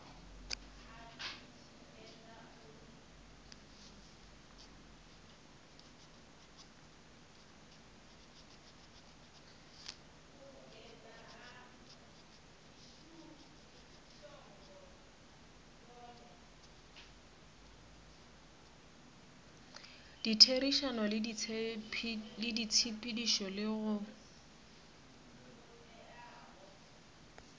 ditherišano le ditshepedišo le go